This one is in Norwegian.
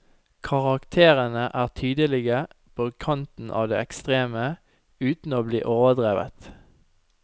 Karakterene er tydelige, på kanten av det ekstreme, uten å bli overdrevet.